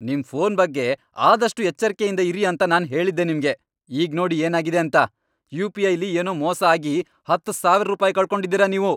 ನಿಮ್ ಫೋನ್ ಬಗ್ಗೆ ಆದಷ್ಟು ಎಚ್ಚರ್ಕೆಯಿಂದ ಇರಿ ಅಂತ ನಾನ್ ಹೇಳಿದ್ದೆ ನಿಮ್ಗೆ. ಈಗ್ನೋಡಿ ಏನಾಗಿದೆ ಅಂತ! ಯುಪಿಐ ಲಿ ಏನೋ ಮೋಸ ಆಗಿ ಹತ್ತ್ ಸಾವಿರ್ ರೂಪಾಯ್ ಕಳ್ಕೊಂಡಿದೀರ ನೀವು.